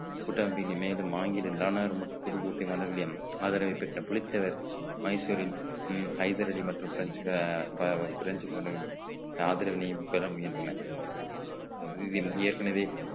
ஆங்கில நாடார் மற்றும் புதுக்கோட்டை மன்னர்களையும் ஆதரவை பெற்ற புலித்தேவர் மைசூரின் உம் ஹைதர் அலி மற்றும் பிரெஞ்சுக~ பிரெஞ்சுகளின் ஆதரவினையும் பெற முயன்றன இதில் ஏற்கனவே